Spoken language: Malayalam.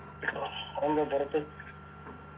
അതെന്തേ പുറത്ത്